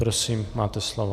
Prosím máte slovo.